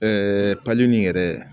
pali in yɛrɛ